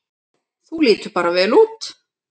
Þú lítur bara vel út!